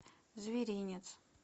зверинец